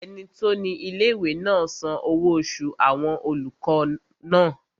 Ẹni tó ní ilé-ìwé náà san owó oṣù àwọn olùkọ́ náà